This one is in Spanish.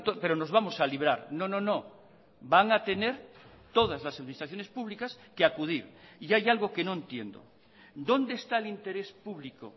pero nos vamos a librar no no no van a tener todas las administraciones públicas que acudir y hay algo que no entiendo dónde está el interés público